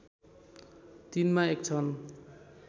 तीनमा एक छन्